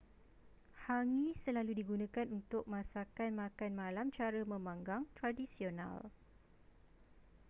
hangi selalu digunakan untuk masakan makan malam cara memanggang tradisional